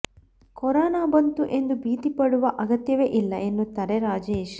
corona ಬಂತು ಎಂದು ಭೀತಿ ಪಡುವ ಅಗತ್ಯವೇ ಇಲ್ಲ ಎನ್ನುತ್ತಾರೆ ರಾಜೇಶ್